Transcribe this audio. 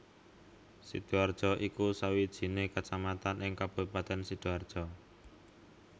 Sidoarjo iku sawijine kecamatan ing Kabupaten Sidoarjo